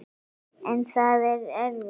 En það er erfitt.